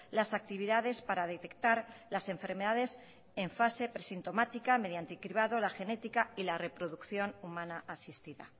las actividades para detectar las enfermedades en fase presintomática mediante cribado la genética y la reproducción humana asistida